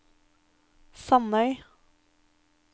Sandøy